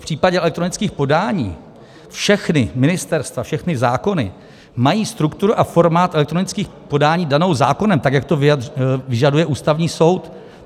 V případě elektronických podání všechna ministerstva, všechny zákony mají strukturu a formát elektronických podání danou zákonem tak, jak to vyžaduje Ústavní soud.